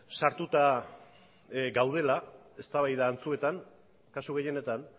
sartuta gaudela eztabaida antzuetan kasu gehienetan